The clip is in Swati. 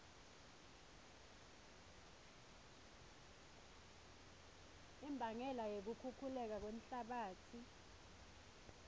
imbangela yekukhukhuleka kwemhlabatsi